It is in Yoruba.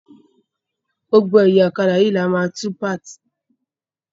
Gbogbo ẹ̀yà ọ̀kadà yìí ní a máa tú palm.